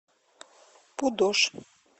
пудож